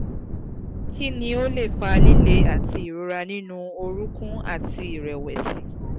kini o le fa lile ati irora ninu orunkun àti ìrẹ̀wẹ̀sì?